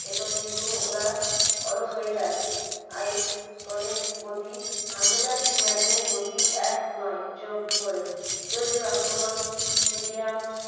এতে কিন্তু ওরা অলস হয়ে যাচ্ছে ISL এর গতি আন্তর্জাতিক match এর গতি এক নয় যোগ করে। যদিও আক্রমণ medium